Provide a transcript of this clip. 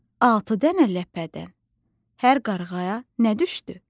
Altı dənə ləpədən hər qarğaya nə düşdü?